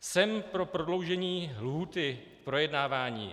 Jsem pro prodloužení lhůty k projednávání.